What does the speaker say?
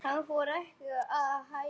Hann fór ekki að hlæja.